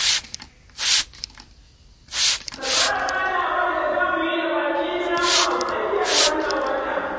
Ka tsara ganawar da za mu yi da baƙin namu a tsakiyar wannan wata.